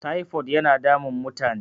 tipod yana damun mutane